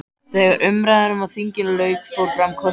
Þegar umræðum á þinginu lauk fór fram kosning.